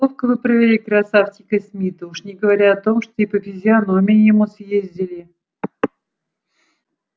ловко вы провели красавчика смита уж не говоря о том что и по физиономии ему съездили